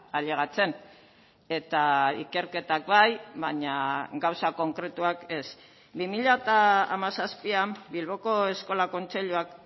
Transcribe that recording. ailegatzen eta ikerketak bai baina gauza konkretuak ez bi mila hamazazpian bilboko eskola kontseiluak